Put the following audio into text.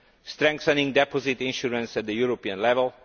strengthening deposit insurance at the European level